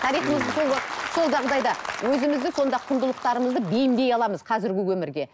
тарихымызды сол жағдайда өзімізді сонда құндылықтарымызды бейімдей аламыз қазіргі өмірге